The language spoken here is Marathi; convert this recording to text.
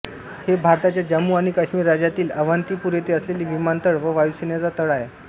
हे भारताच्या जम्मू आणि काश्मिर राज्यातील अवंतीपूर येथे असलेले विमानतळ व वायुसेनेचा तळ आहे